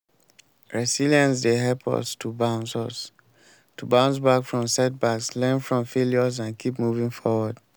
resilience dey help us to bounce us to bounce back from setbacks learn from failures and keep moving forward.